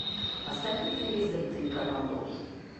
поставь на телевизоре телеканал дождь